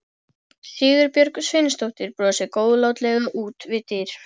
Sigurbjörg Sveinsdóttir brosir góðlátlega út við dyr.